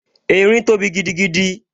Erin tóbi gidigidi